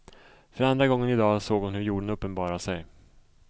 För andra gången idag såg hon hur jorden uppenbarade sig.